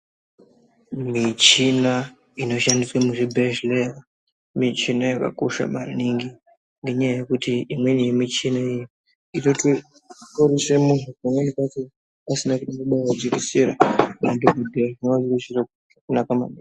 Muchina inoshandiswa muzvibhedhlera muchina wakakosha maningi Ngenyaya yekuti imweni yemuchina imweni pamweni pacho asina kubaiwa majekiseni amweni acho.